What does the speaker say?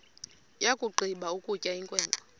yakugqiba ukutya inkwenkwe